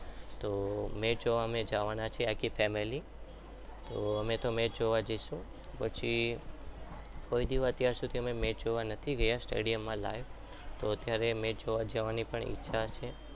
તો match જોવા અમે જવાના છીએ આખી family તો અમે તો મેચ જોવા જઈશું પછી કોઈ દિવસ અત્યાર સુધી અમે જોવા નથી ગયા stadium માં live તો ત્યારે જોવા જવાની પણ ઈચ્છા છે.